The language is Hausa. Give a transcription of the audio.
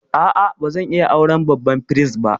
A'a, ba zan iya auren babban firist ba.